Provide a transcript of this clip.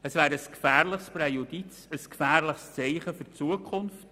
Es wäre ein gefährliches Präjudiz und ein gefährliches Zeichen für die Zukunft.